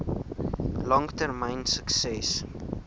lang termyn sukses